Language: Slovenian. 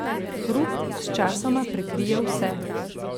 Hrup sčasoma prekrije vse.